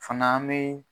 Fana an bɛ